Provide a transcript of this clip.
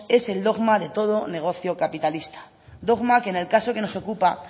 es el dogma de todo negocio capitalista dogma que en el caso que nos ocupa